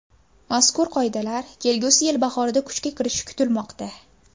Mazkur qoidalar kelgusi yil bahorida kuchga kirishi kutilmoqda.